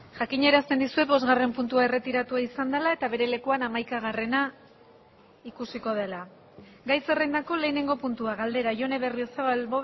jakinarazten dizuet bosgarren puntua erretiratua izan dela eta bere lekuan hamaikagarrena ikusiko dela gai zerrendako lehenengo puntua galdera jone berriozabal